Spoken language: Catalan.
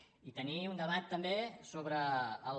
i tenir un debat també sobre els